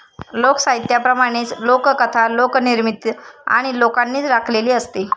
लोकसाहित्याप्रमाणेच लोककथा लोकनिर्मित आणि लोकांनीच राखलेली असते.